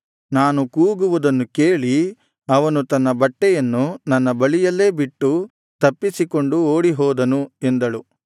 ನಾನು ಕೂಗುವುದನ್ನು ಕೇಳಿ ಅವನು ತನ್ನ ಬಟ್ಟೆಯನ್ನು ನನ್ನ ಬಳಿಯಲ್ಲೇ ಬಿಟ್ಟು ತಪ್ಪಿಸಿಕೊಂಡು ಓಡಿಹೋದನು ಎಂದಳು